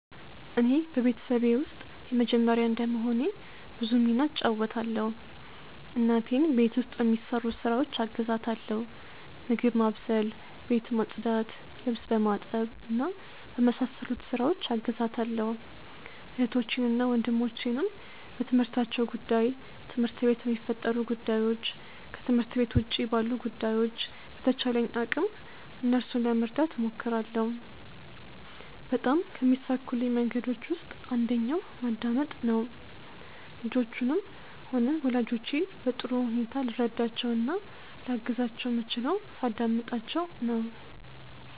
እኔ በቤተሰቤ ውስጥ የመጀመርያ እንደመሆኔ ብዙ ሚና እጫወታለው። እናቴን ቤት ውስጥ በሚሰሩ ስራዎች አግዛታለው ምግብ ማብሰል፣ ቤት ማጽዳት፣ ልብስ በማጠብ እና በመሳሰሉት ስራዎች አግዛታለሁ። እህቶቼንና ወንድሞቼንም በትምህርታቸው ጉዳይ፣ ትምህርት ቤት በሚፈጠሩ ጉዳዮች፣ ከትምህርት ቤት ውጪ ባሉ ጉዳዮች በተቻለኝ አቅም እነርሱን ለመርዳት እሞክራለው። በጣም ከሚሳኩልኝ መንገዶች ውስጥ አንደኛው ማዳምጥ ነው። ልጆቹንም ሆነ ወላጆቼን በጥሩ ሁኔታ ልረዳቸው እና ላግዛቸው ምችለው ሳዳምጣቸው ነው።